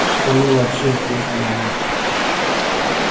что мы вообще здесь делаем